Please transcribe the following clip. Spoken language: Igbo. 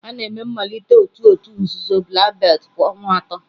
A na-eme mmalite otu òtù nzuzo Black belt kwa ọnwa atọ.